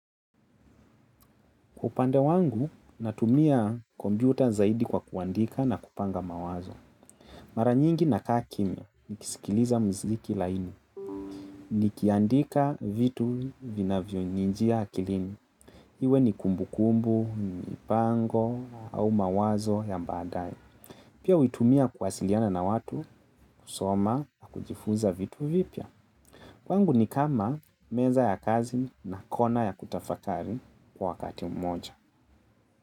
Kwaupande wangu, natumia kompyuta zaidi kwa kuandika na kupanga mawazo. Mara nyingi na kaakimia, nikisikiliza muziki laini. Nikiandika vitu vina vyo nijia akilini. Iwe ni kumbu kumbu, mipango, au mawazo ya baadaye. Pia huitumia kuwasiliana na watu, kusoma, na kujifuza vitu vipya. Kwangu ni kama meza ya kazi na kona ya kutafakari kwa wakati mmoja.